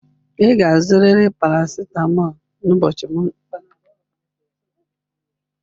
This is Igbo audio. Ị ga-azụrịrị Panadol n'ụbọchị Mọnde